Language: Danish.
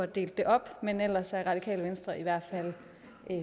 delt op men ellers er radikale venstre i hvert fald